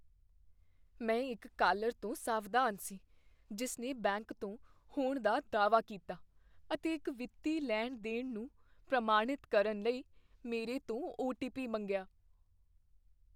ਮੈਂ ਇੱਕ ਕਾਲਰ ਤੋਂ ਸਾਵਧਾਨ ਸੀ ਜਿਸ ਨੇ ਬੈਂਕ ਤੋਂ ਹੋਣ ਦਾ ਦਾਅਵਾ ਕੀਤਾ ਅਤੇ ਇੱਕ ਵਿੱਤੀ ਲੈਣ ਦੇਣ ਨੂੰ ਪ੍ਰਮਾਣਿਤ ਕਰਨ ਲਈ ਮੇਰੇ ਤੋਂ ਓ. ਟੀ. ਪੀ. ਮੰਗਿਆ